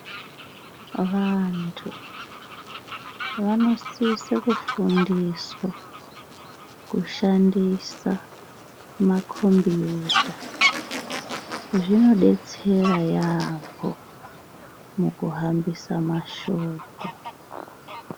Vantu vanosisa kufundiswa kushandisa makombiyuta. Zvinodetsera yaampho mukuhambisa mashoko.